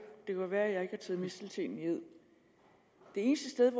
være at jeg ikke taget misteltenen i ed det eneste